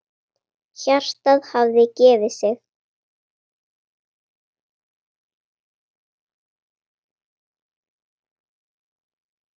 Hjartað hafði gefið sig.